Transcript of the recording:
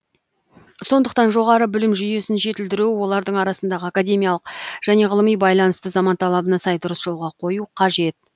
сондықтан жоғары білім жүйесін жетілдіру олардың арасындағы академиялық және ғылыми байланысты заман талабына сай дұрыс жолға қою қажет